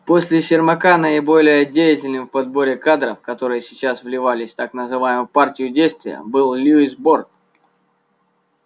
после сермака наиболее деятельным в подборе кадров которые сейчас вливались в так называемую партию действия был льюис борт